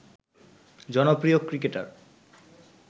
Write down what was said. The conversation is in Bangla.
জনপ্রিয় ক্রিকেটার